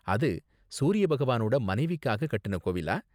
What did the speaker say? அது சூரியபகவானோட மனைவிக்காக கட்டுன கோவிலா?